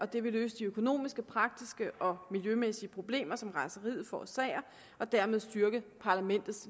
det vil løse de økonomiske praktiske og miljømæssige problemer som rejseriet forårsager og dermed styrke parlamentets